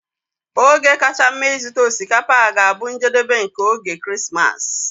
Oge kacha mma ịzụta osikapa ga-abụ njedebe nke oge Krismas.